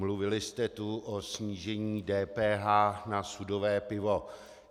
Mluvili jste tu o snížení DPH na sudové pivo.